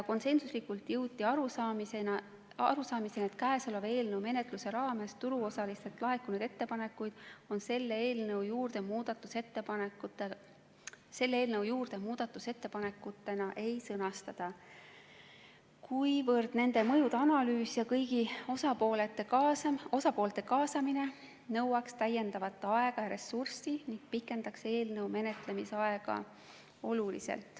Konsensuslikult jõuti arusaamisele, et eelnõu menetluse raames turuosalistelt laekunud ettepanekuid selle eelnõu juurde muudatusettepanekutena ei sõnastata, kuna nende mõjude analüüs ja kõigi osapoolte kaasamine nõuaks täiendavat aega ja ressurssi ning pikendaks märksa eelnõu menetlemise aega.